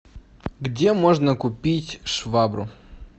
где можно купить швабру